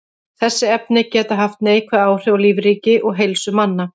Þessi efni geta haft neikvæð áhrif á lífríki og heilsu manna.